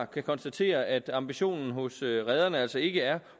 kan konstatere at ambitionen hos rederne altså ikke er